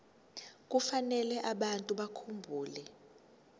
kufanele abantu bakhumbule